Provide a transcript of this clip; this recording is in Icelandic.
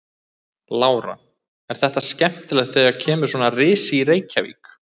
Lára: Er þetta skemmtilegt þegar kemur svona risi í Reykjavík?